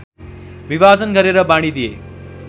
विभाजन गरेर बाँडिदिए